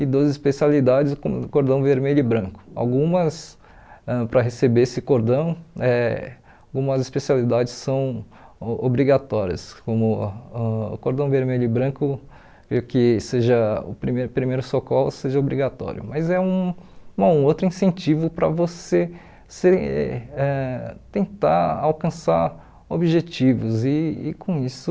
e duas especialidades como o cordão vermelho e branco algumas ãh para receber esse cordão eh algumas especialidades são o obrigatórias ãh como o cordão vermelho e branco creio que seja o primeiro primeiros socorro seja obrigatório mas é um bom um outro incentivo para você ser eh tentar alcançar objetivos e e com isso